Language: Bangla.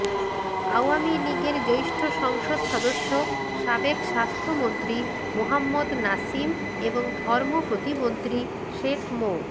আওয়ামী লীগের জ্যেষ্ঠ সংসদ সদস্য সাবেক স্বাস্থ্যমন্ত্রী মোহাম্মদ নাসিম এবং ধর্ম প্রতিমন্ত্রী শেখ মো